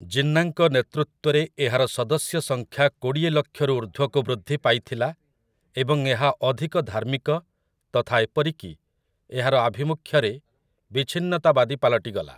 ଜିନ୍ନାଙ୍କ ନେତୃତ୍ୱରେ ଏହାର ସଦସ୍ୟ ସଂଖ୍ୟା କୋଡ଼ିଏ ଲକ୍ଷରୁ ଉର୍ଦ୍ଧ୍ୱକୁ ବୃଦ୍ଧି ପାଇଥିଲା ଏବଂ ଏହା ଅଧିକ ଧାର୍ମିକ ତଥା ଏପରିକି, ଏହାର ଆଭିମୁଖ୍ୟରେ, ବିଚ୍ଛିନ୍ନତାବାଦୀ ପାଲଟିଗଲା ।